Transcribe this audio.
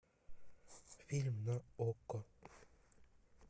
фильм на окко